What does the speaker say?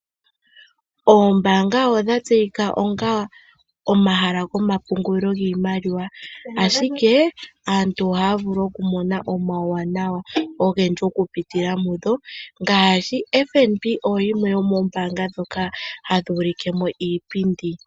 Oombanga odha tseyika onga omahala goma pungulilo giimaliwa, ashike aantu ohaa vulu okumona omauwana ogendji okupitila mudho, ngaashi FNB oyo yimwe yo moombanga dhoka hadhi ulikemo iipindi.